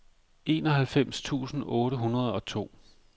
enoghalvfems tusind otte hundrede og to